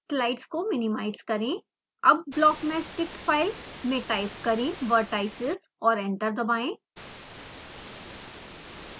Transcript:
slide को minimise करें अब blockmeshdict फाइल में टाइप करें vertices और एंटर दबाएं